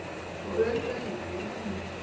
Og örugglega líka í henni.